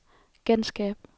genskab